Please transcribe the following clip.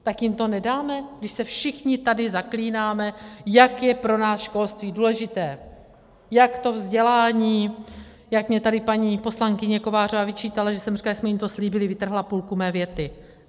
Tak jim to nedáme, když se všichni tady zaklínáme, jak je pro nás školství důležité, jak to vzdělání, jak mně tady paní poslankyně Kovářová vyčítala, že jsem říkala, že jsme jim to slíbili, vytrhla půlku mé věty?